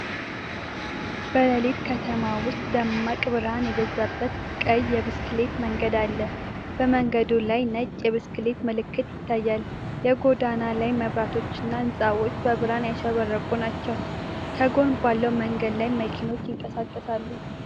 በሌሊት ከተማ ውስጥ ደማቅ ብርሃን የበዛበት ቀይ የብስክሌት መንገድ አለ። በመንገዱ ላይ ነጭ የብስክሌት ምልክት ይታያል። የጎዳና ላይ መብራቶችና ሕንፃዎች በብርሃን ያሸበረቁ ናቸው። ከጎን ባለው መንገድ ላይ መኪኖች ይንቀሳቀሳሉ።